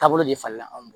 Taabolo de falen anw